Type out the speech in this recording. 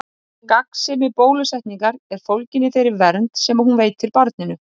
Kata, hvað er á áætluninni minni í dag?